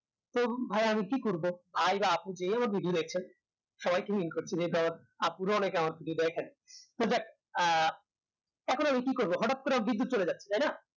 তো ভাইয়া আমি কি করব আয়রা আপনি যে হোক TV দেখছেন সবাইকে তো যাক হোক আপুরা অনেকে আমার video দেখেন তো দেখ এখন আমি কি করব হঠাৎ করে বিদ্যুৎ চলে যায় তাই না